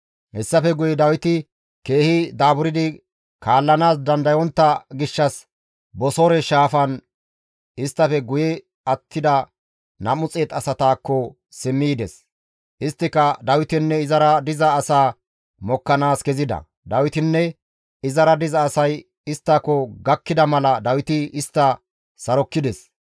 Hessafe guye Dawiti keehi daaburdi kaallanaas dandayontta gishshas Bosoore shaafan isttafe guye attida 200 asataakko simmi yides; isttika Dawitenne izara diza asaa mokkanaas kezida; Dawitinne izara diza asay isttako gakkida mala Dawiti istta sarokkides.